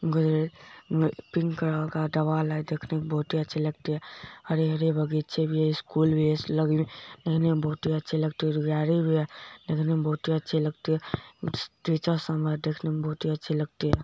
घर pink colour का दीवार है देखने में बहुत ही अच्छी लगती है हरी-हरी बगीचें भी है स्कूल भी है देखने में बहुत ही लगती है गाड़ी भी है देखने में बहुत ही अच्छी लगती है टीचर सम्मर देखने में बहुत ही अच्छी लगती है।